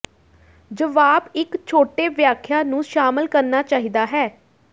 ਜਵਾਬ ਇੱਕ ਛੋਟੇ ਵਿਆਖਿਆ ਨੂੰ ਸ਼ਾਮਲ ਕਰਨਾ ਚਾਹੀਦਾ ਹੈ